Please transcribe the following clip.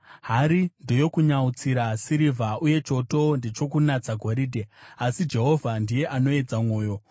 Hari ndeyokunyautsira sirivha uye choto ndechokunatsa goridhe, asi Jehovha ndiye anoedza mwoyo.